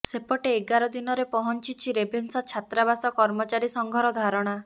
ସେପଟେ ଏଗାର ଦିନରେ ପହଞ୍ଚିଛି ରେଭେନ୍ସା ଛାତ୍ରାବାସ କର୍ମଚାରୀ ସଂଘର ଧାରଣା